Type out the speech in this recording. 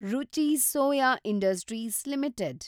ರುಚಿ Soya Industries limited